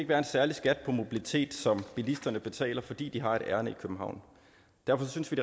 være en særlig skat på mobilitet som bilisterne betaler fordi de har et ærinde i københavn derfor synes vi